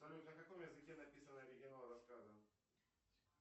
салют на каком языке написан оригинал рассказа